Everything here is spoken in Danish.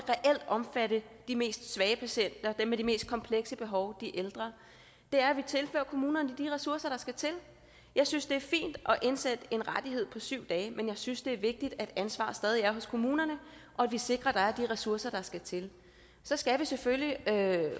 omfatte de mest svage patienter dem med de mest komplekse behov de ældre er at vi tilfører kommunerne de ressourcer der skal til jeg synes det er fint at indsætte en rettighed på syv dage men jeg synes det er vigtigt at ansvaret stadig er hos kommunerne og at vi sikrer at der er de ressourcer der skal til så skal vi selvfølgelig